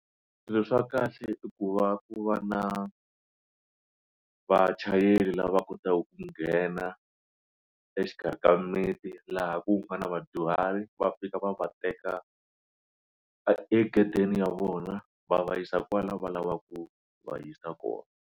Swilo swa kahle i ku va ku va na vachayeri lava kotaku ku nghena exikarhi ka mimiti laha ku nga na vadyuhari va fika va va teka e egedeni ya vona va va yisa kwala va lavaka ku va yisa kona.